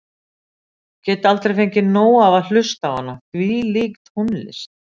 Ég get aldrei fengið nóg af að hlusta á hana, hvílík tónlist.